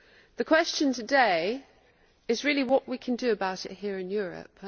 The question today is really what we can do about it here in Europe.